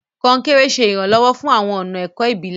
Konkere ṣe iranlọwọ fún awọn ọna ẹkọ ibilẹ.